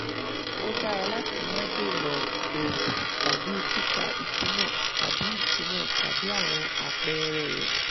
ó dára láti má dènà òògùn tàbí kíkà ìtumọ̀ tàbí ìtumọ̀ tàbí àwọn àpẹẹrẹ rẹ